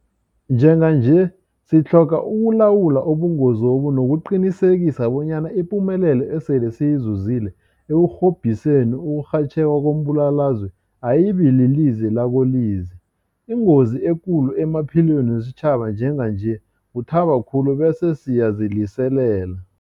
Njenganje sitlhoga ukulawula ubungozobu nokuqinisekisa bonyana ipumelelo esele siyizuzile ekurhobhiseni ukurhatjheka kombulalazwe ayibililize lakolize. Ingozi ekulu emaphilweni wesitjhaba njenganje kuthaba khulu bese siyaziliselela.